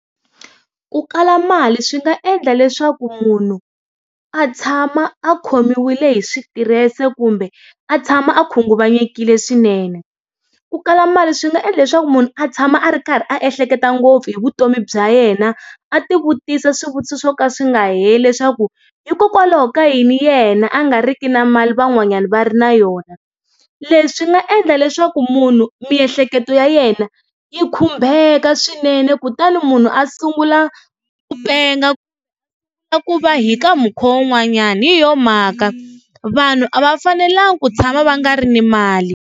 Ku kala mali swi nga endla leswaku munhu a tshama a khomiwile hi switirese kumbe a tshama a khunguvanyekile swinene ku kala mali swi nga endla leswaku munhu a tshama a ri karhi a ehleketa ngopfu hi vutomi bya yena a ti vutisa swivutiso swo ka swi nga heli leswaku hikokwalaho ka yini yena a nga riki na mali van'wanyana va ri na yona leswi nga endla leswaku munhu miehleketo ya yena yi khumbeka swinene kutani munhu a sungula ku penga ku va hi ka mukhuva wun'wanyani hi yona mhaka vanhu a va fanelangi ku tshama va nga ri na mali.